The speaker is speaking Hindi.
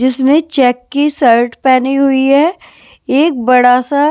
जिसने चेक की सर्ट पहनी हुई है एक बड़ा सा --